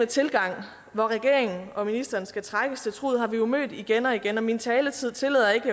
tilgang hvor regeringen og ministeren skal trækkes til truget har vi jo mødt igen og igen min taletid tillader ikke